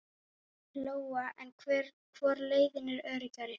Lóa: En hvor leiðin er öruggari?